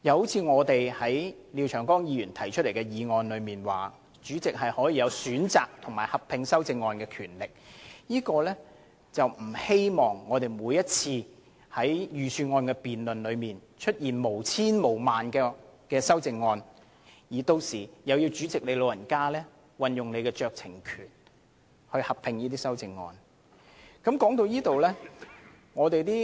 此外，我們曾就廖議員提出的擬議決議案指出，賦予主席選擇就修正案進行合併辯論的權力，是不想每年的財政預算案辯論都出現成千上萬項修正案，而每次都要勞煩主席運用酌情權，命令就修正案進行合併辯論。